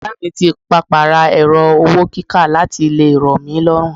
Oga mi ti papa ra ẹrọ-owó-kíkà láti lè ro mí lọ́run.